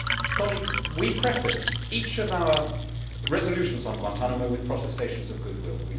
Colleagues, we prefaced each of our resolutions on Guantánamo with protestations of goodwill.